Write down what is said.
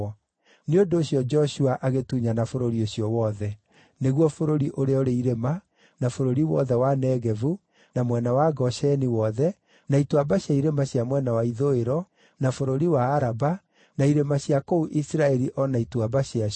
Nĩ ũndũ ũcio Joshua agĩtunyana bũrũri ũcio wothe: nĩguo bũrũri ũrĩa ũrĩ irĩma, na bũrũri wothe wa Negevu, na mwena wa Gosheni wothe, na ituamba cia irĩma cia mwena wa ithũĩro, na bũrũri wa Araba, na irĩma cia kũu Isiraeli o na ituamba ciacio,